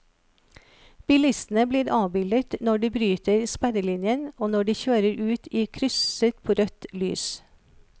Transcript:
Bilistene blir avbildet når de bryter sperrelinjen og når de kjører ut i krysset på rødt lys.